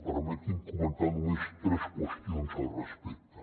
permetin me comentar només tres qüestions al respecte